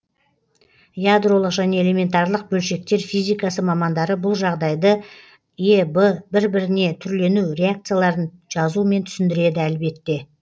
ядролық және элементарлық бөлшектер физикасы мамандары бұл жағдайды эб бір біріне түрлену реакцияларын жазумен түсіндіреді әлбетте